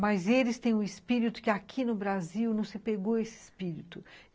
Mas eles têm um espírito que aqui no Brasil não se pegou esse espírito.